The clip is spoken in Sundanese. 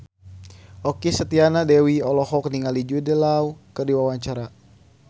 Okky Setiana Dewi olohok ningali Jude Law keur diwawancara